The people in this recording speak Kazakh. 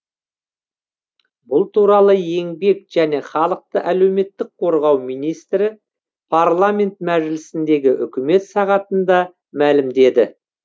бұл туралы еңбек және халықты әлеуметтік қорғау министрі парламент мәжілісіндегі үкімет сағатында мәлімдеді